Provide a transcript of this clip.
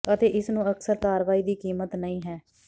ਅਤੇ ਇਸ ਨੂੰ ਅਕਸਰ ਕਾਰਵਾਈ ਦੀ ਕੀਮਤ ਨਹੀ ਹੈ